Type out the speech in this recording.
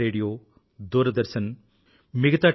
radio Doordarshan మిగతా T